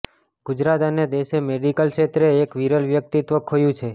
ગુજરાત અને દેશે મેડીકલ ક્ષેત્રે એક વીરલ વ્યક્તિત્વ ખોયું છે